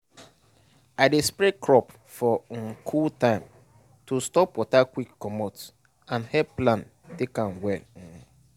i dey spray crop for um cool time to stop water quick comot and help plant take am well.